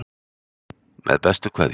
Með bestu kveðju